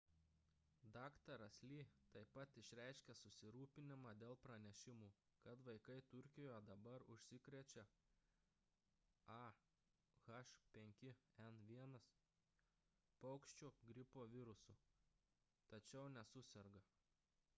dr. lee taip pat išreiškė susirūpinimą dėl pranešimų kad vaikai turkijoje dabar užsikrečia a h5n1 paukščių gripo virusu tačiau nesuserga